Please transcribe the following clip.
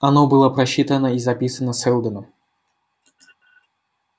оно было просчитано и записано сэлдоном